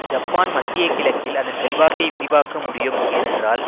Japan மத்திய கிழக்கில் அதன் செல்வாக்கை விரிவாக்க முடியும் ஏனென்றால்